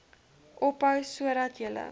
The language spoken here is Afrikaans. ophou sodat julle